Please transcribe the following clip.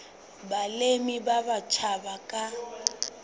balemi ba batjha ba ka